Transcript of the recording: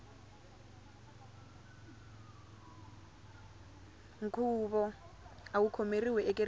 nkhuvo awu khomeriwe ekerekeni